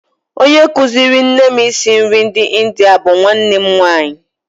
Onye kụziiri nne m isi nri ndị India bụ nwanne nwaanyị